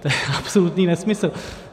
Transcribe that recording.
To je absolutní nesmysl.